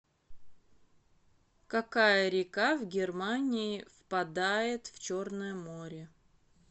какая река в германии впадает в черное море